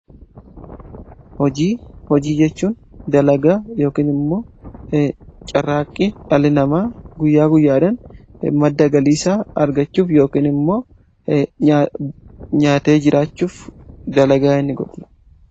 hojii, hojii jechuun dalagaa yookin immoo carraaqqi dhalli namaa guyyaa guyyaadhan madda galiisaa argachuuf yookiin immoo nyaatee jiraachuuf dalagaa inni godhu.